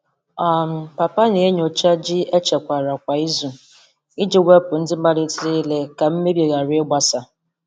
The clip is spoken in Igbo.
um Papa na-enyocha ji echekwara kwa izu iji wepụ ndị malitere ire ka mmebi ghara ịgbasa.